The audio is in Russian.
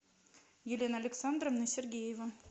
елена александровна сергеева